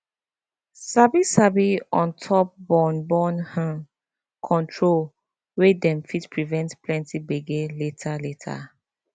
sabi sabi on top born born hmm control way dem fit prevent plenty gbege later later